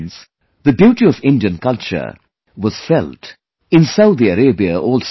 Friends, the beauty of Indian culture was felt in Saudi Arabia also